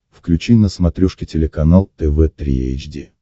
включи на смотрешке телеканал тв три эйч ди